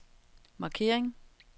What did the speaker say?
markering